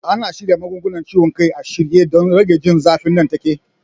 Ana samun magungunan ciwon kai a shirye don rage jin zafi nan take.